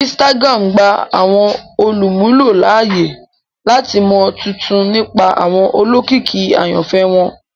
Instagram gba awọn olumulo laaye lati mọ tuntun nipa awọn olókìkí ayanfẹ wọn